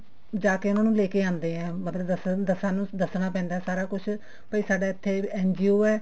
ਜਾ ਕੇ ਉਹਨਾ ਨੂੰ ਲੇਕੇ ਆਉਂਦੇ ਆ ਮਤਲਬ ਦੱਸਣ ਦੱਸ ਦੱਸਣਾ ਪੈਂਦਾ ਸਾਰਾ ਕੁੱਝ ਵੀ ਸਾਡਾ ਇੱਥੇ NGO ਹੈ